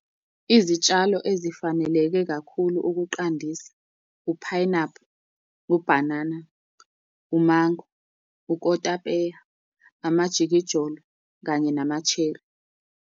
Izitshalo ezifaneleke kakhulu ukuqandisa, uphayinaphu, ubhanana, umango, ukotapeya, amajikijolo, kanye nama-cherry.